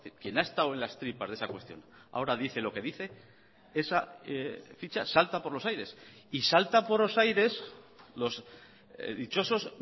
quien ha estado en las tripas de esa cuestión ahora dice lo que dice esa ficha salta por los aires y salta por los aires los dichosos